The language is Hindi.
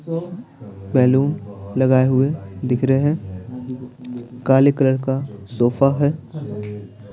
बैलून लगाए हुए दिख रहे हैं काले कलर का सोफा है।